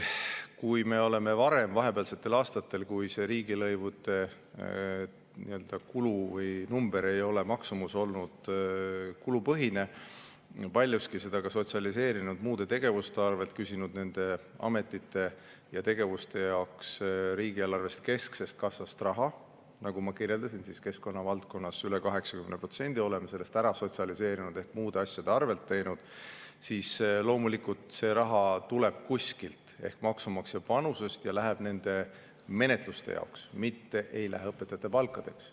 Kui vahepealsetel aastatel on riigilõivud olnud kulupõhised, me oleme paljuski seda sotsialiseerinud muude tegevuste arvel, küsinud nende ametite ja tegevuste jaoks riigieelarvest kesksest kassast raha – nagu ma kirjeldasin, keskkonna valdkonnas üle 80% oleme sellest ära sotsialiseerinud ehk muude asjade arvel teinud –, siis loomulikult see raha tuleb kuskilt ehk maksumaksja panusest ja läheb nende menetluste jaoks, mitte ei lähe õpetajate palkadeks.